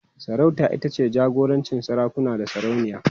Sarauta ita ce jagorancin sarakuna da sarauniya.